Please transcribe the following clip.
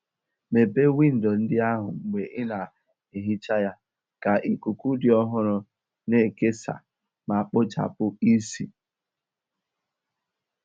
Mepee windo ndị ahụ mgbe ị na-ehicha ya ka ikuku dị ọhụrụ na-ekesa ma kpochapụ ísì.